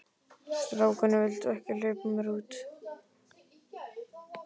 Strákarnir vildu ekki hleypa mér út.